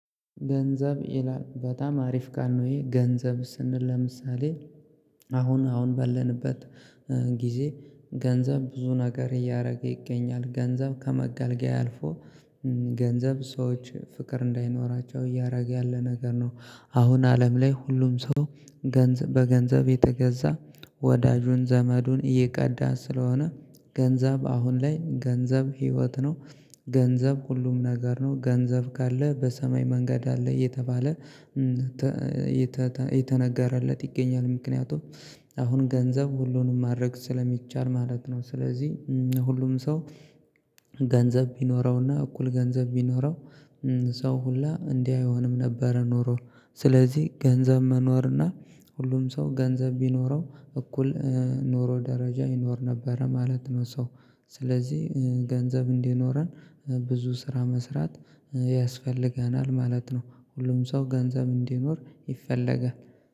ገንዘብ ይላል በጣም አሪፍ ካል ነው ይሄ ገንዘብ ስንል ለምሳሌ አሁን አሁን በለንበት ጊዜ ገንዘብ ብዙ ነገር እያደረገ ይገኛል ገንዘብ ከመጋልገያ አልፎ ገንዘብ ሰዎችን ፍቅር እንዳይኖራቸው እያደረገ ያለ ነገር ነው። አሁን አለም ላይ ሁሉም ሰው ገንዘብ በገንዘብ እየተገዛ ወዳጁን ዘመዱን እየቀዳ ስለሆነ ገንዘብ አሁን ላይ ገንዘብ ህይወት ነው ገንዘብ ሁሉም ነገር ነው። ገንዘብ ካለ በሰማይ መንገድ አለ እየተባለ እየተነገረለት ይገኛል ምክንያቱም አሁን ገንዘብ ሁሉንም ማድረግ ስለሚቻል ማለት ነው። ስለዚህ ሁሉም ሰው ገንዘብ ቢኖረውና እኩል ገንዘብ ቢኖረው ሰው ሁላ እንዲህ አይሆንም ነበር ኖሮ ስለዚህ ገንዘብ መኖር እና ሁሉም ሰው ገንዘብ ቢኖረው እኩል ኖሮ ደረጃ ይኖር ነበረ ማለት ነው ሰው። ስለዚህ ገንዘብ እንዲኖረን ብዙ ስራ መስራት ያስፈልገናል ማለት ነው። ሁሉም ሰው ገንዘብ እንዲኖር ይፈለጋል